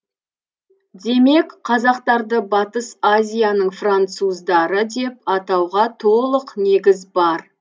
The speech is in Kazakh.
демек қазақтарды батыс азияның француздары деп атауға толық негіз бар